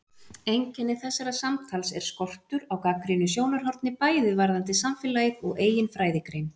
Einkenni þessa samtals er skortur á gagnrýnu sjónarhorni bæði varðandi samfélagið og eigin fræðigrein.